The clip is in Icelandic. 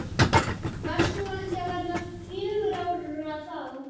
Varst þú ekki að verða fjögurra ára þá?